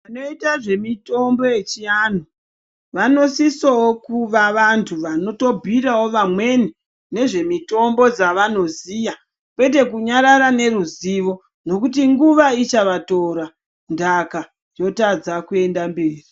Vanoita zvemitombo yechivantu vanosisawo kuva vantu vanotobhuira vamweni nezvemitombo dzavanoziya ngekuti nguva ichavatora ntaka yokorera kuenda mberi.